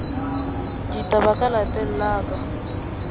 ditaba ka lapeng la ka